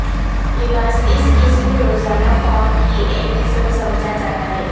لباس اس قسم روزانہ فارم کی ایک قسم سمجھا جاتا ہے